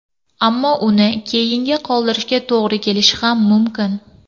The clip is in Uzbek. Ammo uni keyinga qoldirishga to‘g‘ri kelishi ham mumkin.